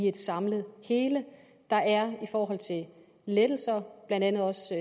et samlet hele der er i forhold til lettelser blandt andet også